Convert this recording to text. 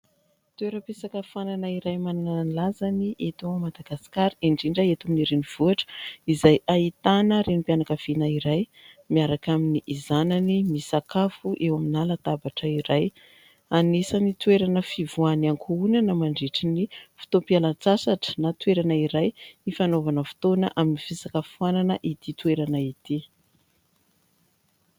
Toeram-pisakafoanana iray manana ny lazany eto Madagasikara indrindra eto amin'ny renivohitra ; izay ahitana renim-pianakaviana iray miaraka amin'ny zanany misakafo eo amina latabatra iray. Anisan'ny toerana fivoahan'ny ankohonana mandritra ny fotoam-pialan-tsasatra na toerana iray hifanaovana fotoana amin'ny fisakafoanana ity toerana ity.